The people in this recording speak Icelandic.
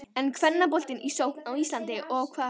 Er kvennaboltinn í sókn á Íslandi og á hvaða hátt?